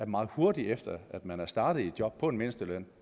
meget hurtigt efter at man er startet i et job på en mindsteløn